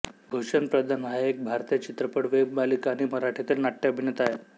भूषण प्रधान हा एक भारतीय चित्रपट वेब मालिका आणि मराठीतील नाट्य अभिनेता आहे